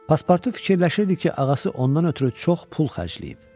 Paspartu fikirləşirdi ki, ağası ondan ötrü çox pul xərcləyib.